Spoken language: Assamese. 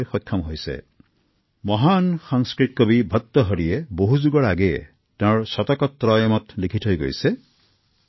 শতিকা পূৰ্বে মহান সংস্কৃত কবি ভাৰতাহৰিয়ে তেওঁৰ বিখ্যাত গ্ৰন্থ শতকত্ৰায়মত লিখিছিল